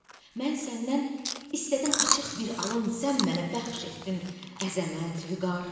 Mən səndən istədim açıq bir alın, sən mənə bəxş etdin əzəmət, vüqar.